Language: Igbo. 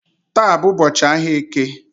Taa bụ ụbọchị ahia eke